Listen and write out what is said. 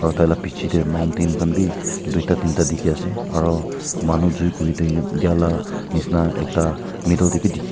aro taila biche de mountain khan b tuita dinta dikhi ase aro manu jui kuri din dia taila nishina ekta middle de b dikhi as--